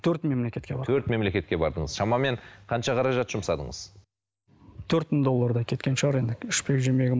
төрт мемлекетке бардым төрт мемлекетке бардыңыз шамамен қанша қаражат жұмсадыңыз төрт мың доллардай кеткен шығар енді ішпек жемегім